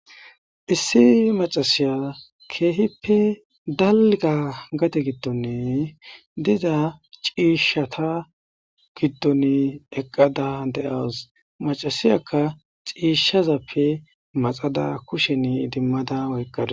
Issi macasiya keehippe dalga gate giddonne diza ciishshata giddon eqqada de7awus macasiyakka ciishshazappe maxada kushen idimmada woyqqada.